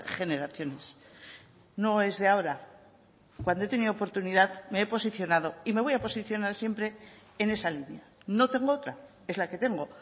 generaciones no es de ahora cuando he tenido oportunidad me he posicionado y me voy a posicionar siempre en esa línea no tengo otra es la que tengo